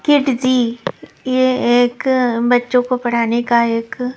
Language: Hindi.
किड जी ये एक बच्चों को पढ़ाने का एक --